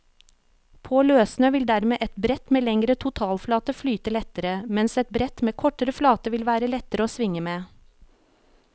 På løssnø vil dermed et brett med lengre totalflate flyte lettere, mens et brett med kortere flate vil være lettere å svinge med.